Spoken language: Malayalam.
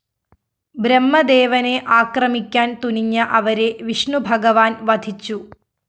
ബ്രഹ്മദേവനെ ആക്രമിക്കാന്‍ തുനിഞ്ഞ അവരെ വിഷ്ണുഭഗവാന്‍ വധിച്ചു